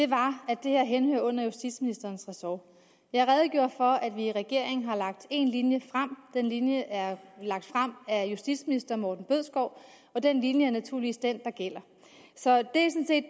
var at det her henhører under justitsministerens ressort jeg redegjorde for at vi i regeringen har lagt en linje frem den linje er lagt frem af justitsministeren og den linje er naturligvis den der gælder så